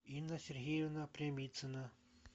инна сергеевна прямицина